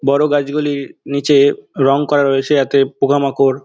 বড়ো গাছ গুলির নিচে রং করা রয়েছে । যাতে পোকামাকড় --